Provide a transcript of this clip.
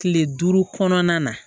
Kile duuru kɔnɔna na